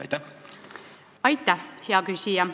Aitäh, hea küsija!